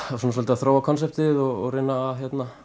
að þróa konseptið og reyna að